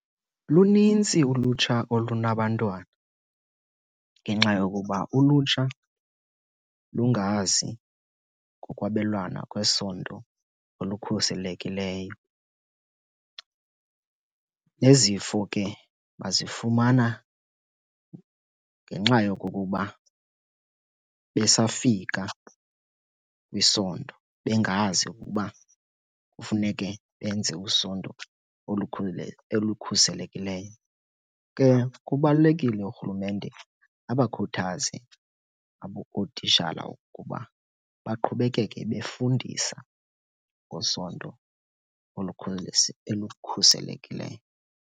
Lunintsi ulutsha olunabantwana ngenxa yokuba ulutsha lungazi ngokwabelwana kwesondo olukhuselekileyo. Nezifo ke bazifumana ngenxa yokokuba besafika kwisondo bengazi ukuba kufuneke benze usondo elukhuselekileyo. Ke kubalulekile urhulumente abakhuthaze ootishala ukuba baqhubekeke befundisa ngosondo elukhuselekileyo.